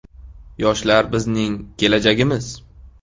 Yoshlar bizning kelajagimiz.